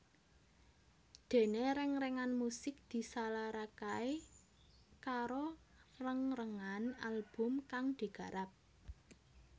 Dene rengrengan musik disalarakae karo rengrengan album kang digarap